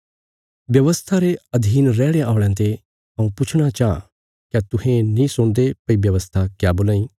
व्यवस्था रे अधीन रैहणे औल़यां ते हऊँ पुछणा चाँह क्या तुहें नीं सुणदे भई व्यवस्था क्या बोलां इ